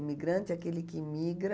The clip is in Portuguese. Imigrante é aquele que migra...